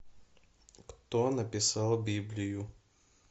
кто написал библию